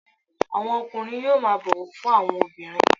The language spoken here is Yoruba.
Àwọn ọkùnrin yóò máa bọ̀wọ̀ fún àwọn obìnrin